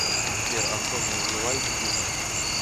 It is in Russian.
сбер антонио вивальди ютуб